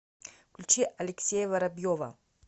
включи алексея воробьева